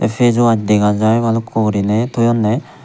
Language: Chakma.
facewash dega jai bhalukku guriney thoyunney.